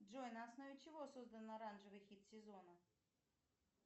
джой на основе чего создан оранжевый хит сезона